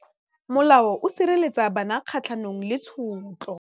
Molao o sireletsa bana kgatlhanong le tshotlo.